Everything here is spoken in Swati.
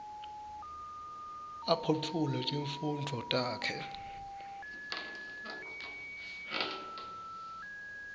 aphotfule tifundvo takhe